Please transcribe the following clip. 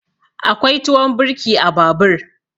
Akwai tuwon birki a babur.